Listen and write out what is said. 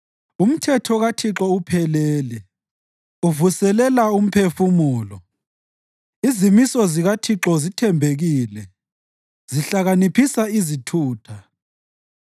Umthetho kaThixo uphelele uvuselela umphefumulo. Izimiso zikaThixo zithembekile, zihlakaniphisa izithutha.